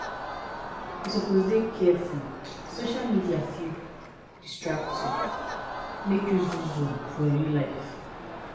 You suppose dey careful social media fit distract you make you zuzu for real life.